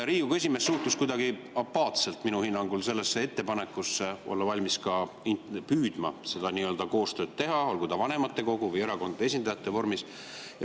Riigikogu esimees suhtus minu hinnangul kuidagi apaatselt ettepanekusse olla valmis püüdma seda koostööd teha, olgu vanematekogu või erakondade esindajate kaudu.